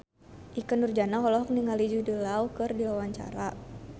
Ikke Nurjanah olohok ningali Jude Law keur diwawancara